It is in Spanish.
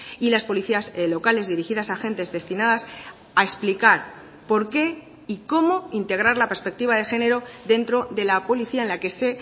y las policías locales dirigidas a agentes destinadas a explicar por qué y cómo integrar la perspectiva de género dentro de la policía en la que se